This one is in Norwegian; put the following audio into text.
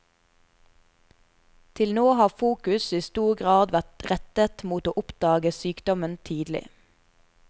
Til nå har fokus i stor grad vært rettet mot å oppdage sykdommen tidlig.